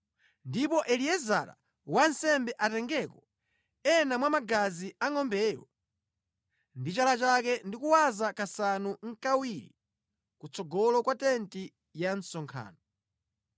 Ndipo Eliezara wansembe atengeko ena mwa magazi a ngʼombeyo ndi chala chake ndi kuwaza kasanu nʼkawiri ku tsogolo kwa tenti ya msonkhano.